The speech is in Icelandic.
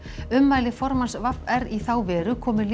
ummæli formanns v r í þá veru komu